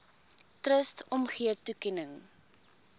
trust omgee toekenning